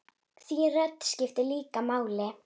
Þín rödd skiptir líka máli.